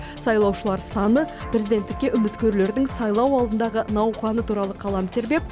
сайлаушылар саны президенттікке үміткерлердің сайлау алдындағы науқаны туралы қалам тербеп